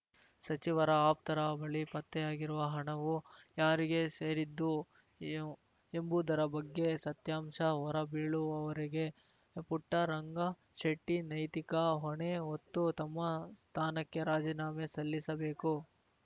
ಸಚಿವರ ಆಪ್ತರ ಬಳಿ ಪತ್ತೆಯಾಗಿರುವ ಹಣವು ಯಾರಿಗೆ ಸೇರಿದ್ದು ಎಂಬುದರ ಬಗ್ಗೆ ಸತ್ಯಾಂಶ ಹೊರಬೀಳುವವರೆಗೆ ಪುಟ್ಟರಂಗಶೆಟ್ಟಿನೈತಿಕ ಹೊಣೆ ಹೊತ್ತು ತಮ್ಮ ಸ್ಥಾನಕ್ಕೆ ರಾಜೀನಾಮೆ ಸಲ್ಲಿಸಬೇಕು